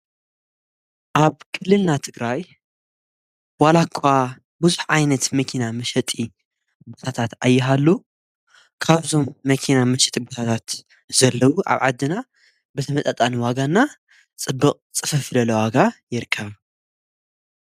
ኣብ ክልልና ትግራይ ዋላኳ ብዙኅ ዓይነት መኪና ምሰጢ ብታታት ኣይሃሉ ካብዞም መኪና ምሸጢ ጕታታት ዘለዉ ኣብ ዓድና በቲ መጣጣን ዋጋና ጽብቕ ጽፈፍለለዋጋ የርከብ።